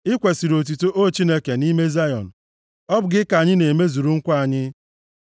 I kwesiri otuto, O Chineke, nʼime Zayọn; ọ bụ gị ka anyị ga-emezuru nkwa anyị,